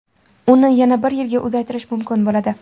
Uni yana bir yilga uzaytirish mumkin bo‘ladi.